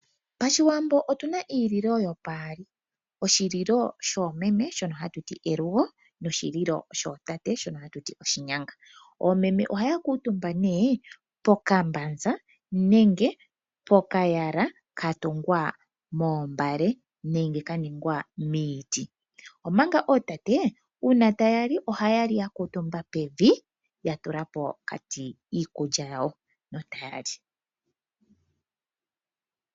Pashiwambo otuna iililo yopaali. Oshililo shoomeme shono hatuti elugo noshililo shootate shono hatuti oshinyanga. Oomeme ohaya kuutumba nee pokambanza nenge pokayala katungwa moombale nenge kaningwa miiti, omanga ootate uuna tayali ohayali ya kuutumba pevi yatula pokati iikulya yawo ano tayali.